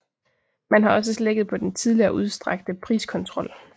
Man har også slækket på den tidligere udstrakte priskontrol